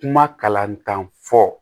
Kuma kalantan fɔ